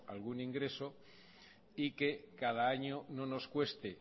algún ingresos y que cada año no nos cueste